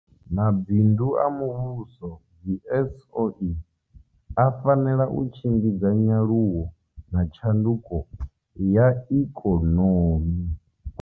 Mabindu a muvhuso dzi SOE a fanela u tshimbidza nyaluwo na tshanduko ya ikonomi.